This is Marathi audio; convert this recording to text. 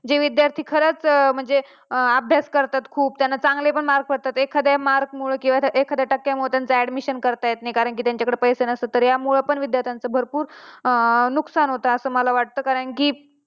जे विद्यार्थी खरंच म्हणजे अभ्यास करतात खूप त्यांना चांगले पण मार्क्स पडतात एखाद्या mark मुळे एखाद्या टक्क्या मुळे त्यांचं admission करता येत नाही कारण की त्यांच्या जवळ पैसे नसतात तर यामुळे पण विद्यार्थ्यांचं भरपूर नुकसान होत असं मला वाटत कारण की